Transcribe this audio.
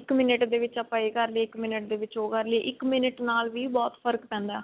ਇੱਕ minute ਦੇ ਵਿੱਚ ਆਪਾਂ ਇਹ ਕਰ ਲਈਏ ਇੱਕ minute ਦੇ ਵਿੱਚ ਉਹ ਕਰ ਲਈਏ ਇੱਕ minute ਨਾਲ ਵੀ ਬਹੁਤ ਫਰਕ ਪੈਂਦਾ